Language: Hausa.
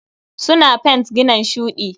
Suna fent ginan shuɗi.